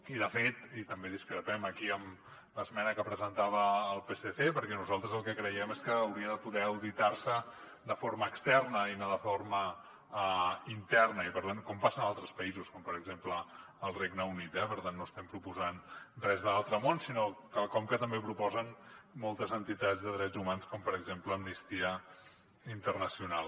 i de fet i també discrepem aquí amb l’esmena que presentava el psc nosaltres el que creiem és que hauria de poder auditar se de forma externa i no de forma interna com passa en altres països com per exemple el regne unit eh per tant no estem proposant res de l’altre món sinó quelcom que també proposen moltes entitats de drets humans com per exemple amnistia internacional